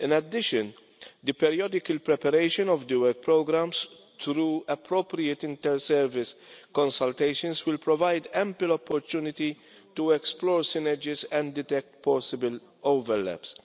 In addition, the periodical preparation of the work programmes, through appropriate inter-service consultations, will provide ample opportunity to explore synergies and detect possible overlaps.